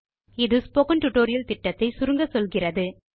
அது இந்த பாட திட்டத்தை சுருக்கமாக சொல்கிறது